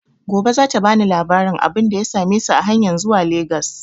Gobe za ta bani labarin abunda ya same su a hanyan zuwa Legas